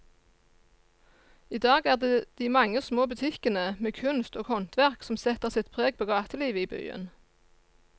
I dag er det de mange små butikkene med kunst og håndverk som setter sitt preg på gatelivet i byen.